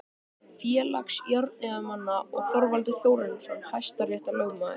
Félags járniðnaðarmanna og Þorvaldur Þórarinsson hæstaréttarlögmaður.